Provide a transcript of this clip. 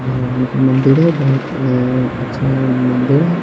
भगवान का मंदिर है बोहोत अ अच्छा मंदिर है।